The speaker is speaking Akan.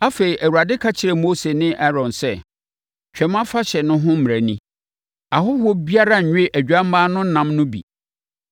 Afei, Awurade ka kyerɛɛ Mose ne Aaron sɛ, “Twam Afahyɛ no ho mmara ni: “Ahɔhoɔ biara nnwe odwammaa no ɛnam no bi.